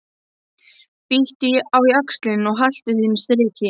Bíttu á jaxlinn og haltu þínu striki.